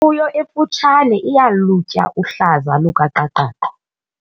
Imfuyo emfutshane iyalutya uhlaza lukaqaqaqa.